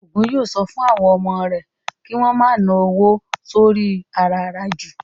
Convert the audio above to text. Ògún yóò sọ fún àwọn ọmọ rẹ̀ kí wón ma ná owó rẹ̀ sóri i àràràjù